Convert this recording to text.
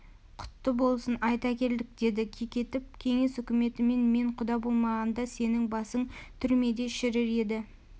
құтты болсын айта келдік деді кекетіп кеңес үкіметімен мен құда болмағанда сенің басың түрмеде шірір еді